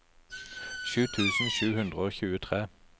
sju tusen sju hundre og tjuetre